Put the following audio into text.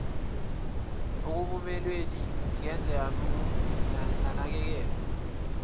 ekunakekelweni ingeze yanakekelwa